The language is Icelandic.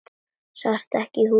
Sástu ekki húfuna?